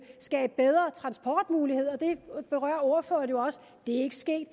skabe bedre transportmuligheder det berørte ordføreren jo også det er ikke sket